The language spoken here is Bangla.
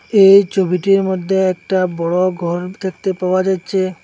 এই ছবিটির মধ্যে একটা বড় ঘর দেখতে পাওয়া যাচ্ছে।